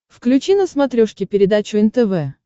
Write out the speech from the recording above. включи на смотрешке передачу нтв